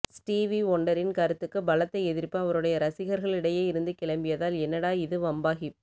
Stevie வொன்டரின் கருத்துக்கு பலத்த எதிர்ப்பு அவருடைய ரசிகர்களிடையே இருந்தே கிளம்பியதால் என்னடா இது வம்பாகிப்